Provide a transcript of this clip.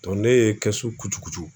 Dɔ ne ye kɛsu kucukucu